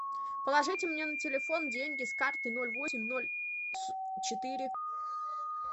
положите мне на телефон деньги с карты ноль восемь ноль четыре